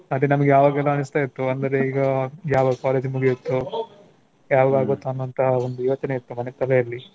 ಮತ್ತೆ ಅವಾಗೆಲ್ಲ ಅನ್ನಿಸ್ತ ಇತ್ತು ಅಂದರೆ ಈಗ ಯಾವಾಗ college ಮುಗ್ಯತ್ತೋ, ಯಾವಾಗ ಆಗುತ್ತೋ ಅನ್ನುವಂಥಹ ಒಂದು ಯೋಚನೆ ಇತ್ತು ನನ್ನ ತಲೆಯಲ್ಲಿ.